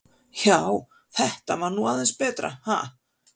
Já, þetta var nú aðeins betra, ha!